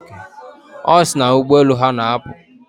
Ọ sị na ụgbọelu ha na-apụ.